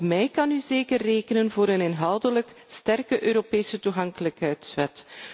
Op mij kunt u zeker rekenen voor een inhoudelijk sterke Europese toegankelijkheidswet.